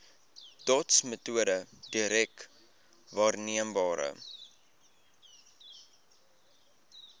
dotsmetode direk waarneembare